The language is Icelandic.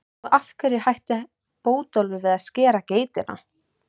Og af hverju hætti Bótólfur við að skera geitina?